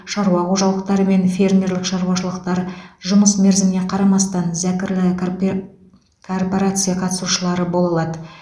шаруа қожалықтары мен фермерлік шаруашылықтар жұмыс мерзіміне қарамастан зәкірлі карпе коорпорация қатысушылары бола алады